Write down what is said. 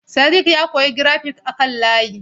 Sadiq ya koyi grafik a kan layi.